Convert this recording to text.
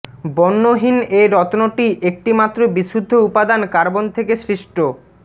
বর্ণহীন এ রত্নটি একটি মাত্র বিশুদ্ধ উপাদান কার্বন থেকে সৃষ্ট